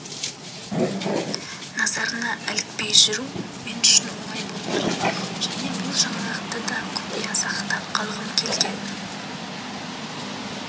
назарына ілікпей жүру мен үшін оңай болмады және бұл жаңалықты да құпия сақтап қалғым келген